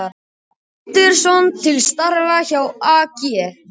Andersson til starfa hjá AG